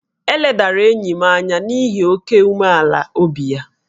E ledara enyi m anya n’ihi oke ịdị umealan'obi ya